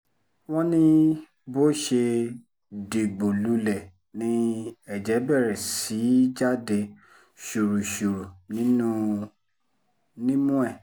wọ́n ní bó ṣe dìgbò lulẹ̀ ni ẹ̀jẹ̀ bẹ̀rẹ̀ sí í í jáde ṣùrùṣùrù nímú ẹ̀